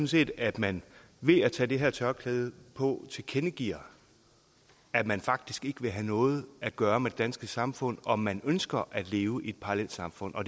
set at man ved at tage det her tørklæde på tilkendegiver at man faktisk ikke vil have noget at gøre med det danske samfund og at man ønsker at leve i et parallelsamfund og